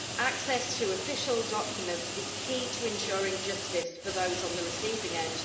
Access to official documents is key to ensuring justice for those on the receiving end.